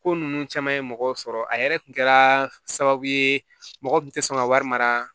Ko ninnu caman ye mɔgɔw sɔrɔ a yɛrɛ kun kɛra sababu ye mɔgɔ kun tɛ sɔn ka wari mara